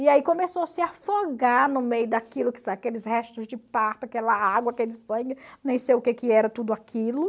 E aí começou a se afogar no meio daquilo aqueles restos de parto, aquela água, aquele sangue, nem sei o que que era tudo aquilo.